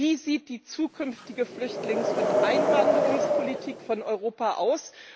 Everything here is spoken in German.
Wie sieht die zukünftige Flüchtlings und Einwanderungspolitik von Europa aus?